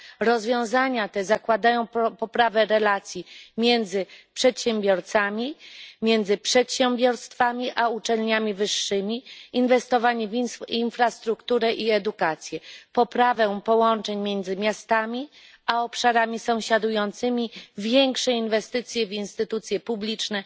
Rozwiązania te zakładają poprawę relacji między przedsiębiorcami oraz między przedsiębiorstwami a uczelniami wyższymi, inwestowanie w infrastrukturę i edukację, poprawę połączeń między miastami a obszarami sąsiadującymi, większe inwestycje w instytucje publiczne